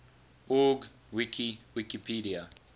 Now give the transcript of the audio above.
org wiki wikipedia